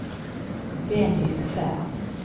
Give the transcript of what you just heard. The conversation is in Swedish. Benny Ferm